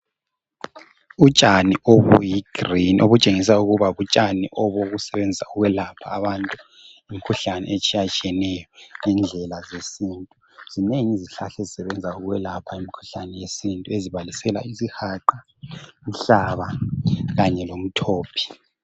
Utshani obuyi green ,obutshengisa ukuba butshani obokusebenzisa ukwelapha abantu imikhuhlane etshiyatshiyeneyo ngendlela zesintu. Kunengi izihlahla ezisebenza ezibalisela isihaqa ,inhlaba kanye lomthophi.